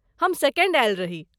हम सेकण्ड आयल रही।